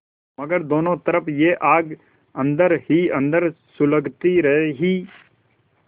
मगर दोनों तरफ यह आग अन्दर ही अन्दर सुलगती रही